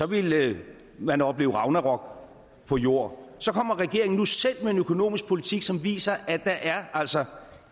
ville man opleve ragnarok på jord så kommer regeringen nu selv med en økonomisk politik som viser at der altså